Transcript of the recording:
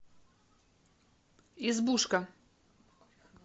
избушка